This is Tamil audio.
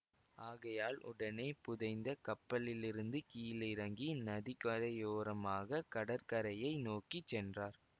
ஆகையால் உடனே புதைந்த கப்பலிலிருந்து கீழிறங்கி நதிக்கரையோரமாகக் கடற்கரையை நோக்கி சென்றார்